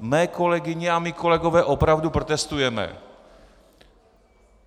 mé kolegyně a mí kolegové opravdu protestujeme.